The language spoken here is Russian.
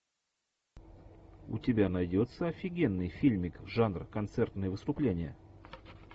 у тебя найдется офигенный фильмик жанр концертные выступления